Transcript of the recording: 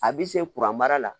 A bi se kuran mara la